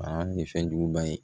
Aa ni fɛnjuguba ye